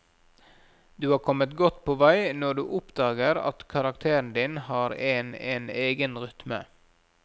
Du har kommet godt på vei når du oppdager at karakteren din har en en egen rytme.